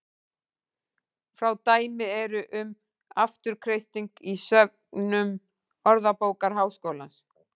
Fá dæmi eru um afturkreisting í söfnum Orðabókar Háskólans.